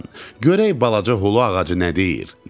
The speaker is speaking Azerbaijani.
Görək balaca xulu ağacı nə deyir?